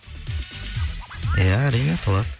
ия әрине толады